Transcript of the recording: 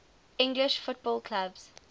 english football clubs